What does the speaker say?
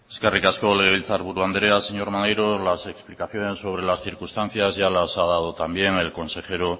eskerrik asko legebiltzar buru andrea señor maneiro las explicaciones sobre las circunstancias ya las ha dado también el consejero